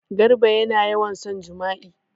Garba yana yawan son jima'i.